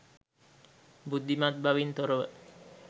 බුද්ධිමත් බවින් තොරව